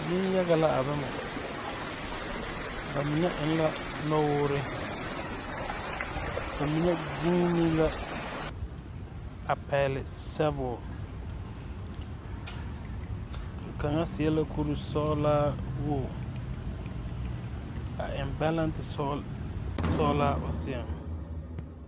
Neŋyaga la a bama ba mine eŋ la nɔwoore ba mine guune la a pɛgle sabul kaŋa seɛ la kurisɔglaa woge a eŋ bɛlɛnte sɔglaa o seɛŋ.